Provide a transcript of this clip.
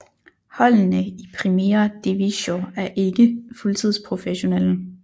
Holdene i Primera Divisió er ikke fuldtids professionelle